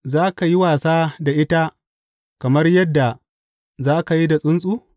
Za ka yi wasa da ita kamar yadda za ka yi da tsuntsu?